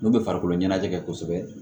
N'u bɛ farikolo ɲɛnajɛ kɛ kosɛbɛ